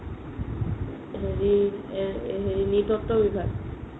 হেৰি নৃতত্ত্ব বিভাগ